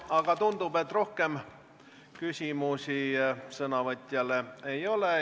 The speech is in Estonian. Aga tundub, et rohkem sõnavõtjale küsimusi ei ole.